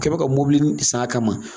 U kɛ ma ka mɔbilinin san a kama.